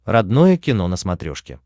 родное кино на смотрешке